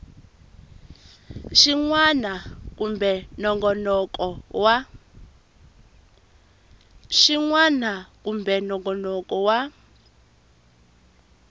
xin wana kumbe nongonoko wa